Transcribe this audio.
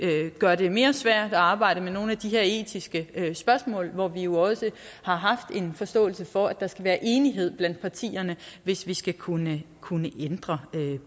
gøre det mere svært at arbejde med nogle af de her etiske spørgsmål hvor vi jo også har haft en forståelse for at der skal være enighed blandt partierne hvis vi skal kunne kunne ændre